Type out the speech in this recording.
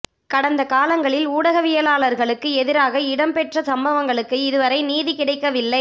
கடந்த காலங்களில் ஊடகவியலாளர்களுக்கு எதிராக இடம் பெற்ற சம்பவங்களுக்கு இது வரை நீதி கிடைக்கவில்லை